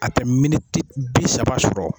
A tɛ bi saba sɔrɔ.